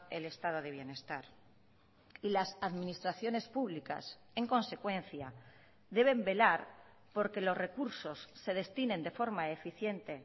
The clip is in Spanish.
el estado de bienestar y las administraciones públicas en consecuencia deben velar por que los recursos se destinen de forma eficiente